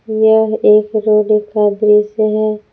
यह एक रोड का दृश्य है।